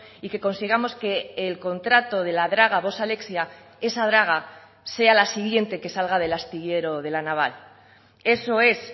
y que consigamos que el contrato de la draga vox alexia esa draga sea la siguiente que salga del astillero de la naval eso es